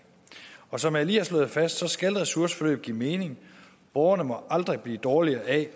og som jeg lige har slået fast skal ressourceforløb give mening borgerne må aldrig blive dårligere af at